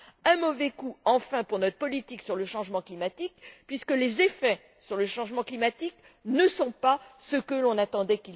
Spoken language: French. Un mauvais coup, enfin, pour notre politique sur le changement climatique puisque les effets sur le changement climatique ne sont pas ceux que l'on attendait.